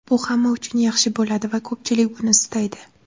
Bu hamma uchun yaxshi bo‘ladi va ko‘pchilik buni istaydi.